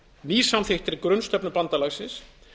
í ný samþykktri grunnsamþykkt bandalagsins